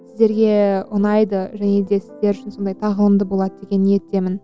сіздерге ұнайды және де сіздер үшін сондай тағылымды болады деген ниеттемін